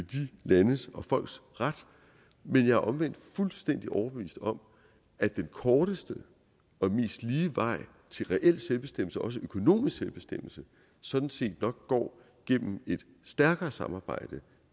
de landes og folks ret men jeg er omvendt fuldstændig overbevist om at den korteste og mest lige vej til reel selvbestemmelse også økonomisk selvbestemmelse sådan set nok går gennem et stærkere samarbejde et